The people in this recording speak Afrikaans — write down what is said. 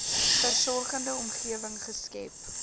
versorgende omgewing geskep